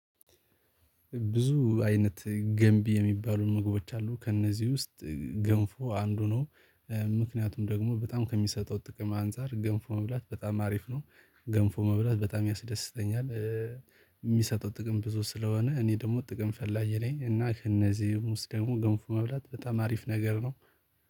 ብዙ አይነት ገንቢ የሚባሉ ምግቦች አ፤ ከእነዚህ ውስጥ ገንፎ አንዱ ነው፤ ምክንያቱም ደግሞ በጣም ከሚሰጠው ጥቅም አንፃር ገንፎ መብላት በጣም አሪፍ ነው ገንፎ መብላት በጣም ያስደስተኛል፤ የሚሰጠው ጥቅም ብዙ ስለሆነ እኔ ደግሞ ጥቅም ፈላጊ ነኝ እና ከእነዚህም ውስጥ ደግሞ ገንፎ መብላት በጣም አሪፍ ነገር ነው።